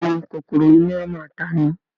Bẹ́ẹ̀ni kòkòrò iná a máa ta'ni